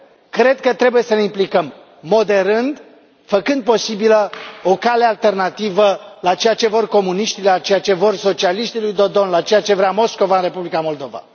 Cred că trebuie să ne implicăm, moderând, făcând posibilă o cale alternativă la ceea ce vor comuniștii, la ceea ce vor socialiștii lui Dodon, la ceea ce vrea Moscova în Republica Moldova.